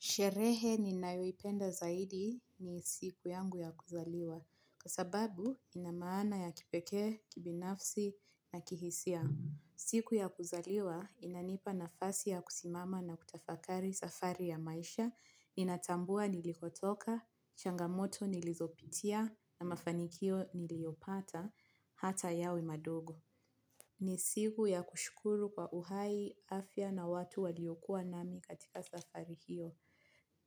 Sherehe ninayoipenda zaidi ni siku yangu ya kuzaliwa, kwa sababu ina maana ya kipeke, kibinafsi, na kihisia. Siku ya kuzaliwa inanipa nafasi ya kusimama na kutafakari safari ya maisha inatambua nilipotoka changamoto nilizopitia na mafanikio niliyopata hata yawe madogo. Ni siku ya kushukuru kwa uhai, afya na watu waliokuwa nami katika safari hiyo.